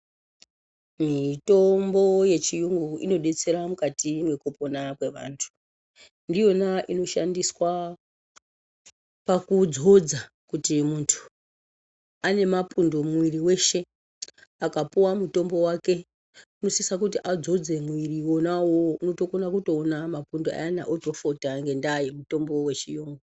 Mitombo yechiyungu inodetsera mukati mwekupona kwe antu ndiyona inoshandiswa pakudzodza kuti muntu ane mapundu muviri weshe akapuwa mutombo wake unosisa kuti adzodze muviri wona uwowo otokona kuona mapundu otofota ngenyaya yemutombo yechiyungu.